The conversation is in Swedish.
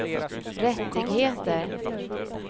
rättigheter